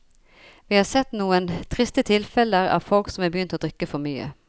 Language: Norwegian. Vi har sett noen triste tilfeller av folk som er begynt å drikke for mye.